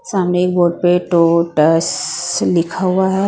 सामने एक बोर्ड पे टोटसससस लिखा हुआ है।